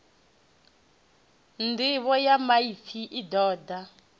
nḓivho ya maipfi i ṱoḓa